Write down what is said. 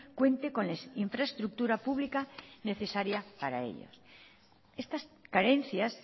cuente con la infraestructura pública necesaria para ello estas carencias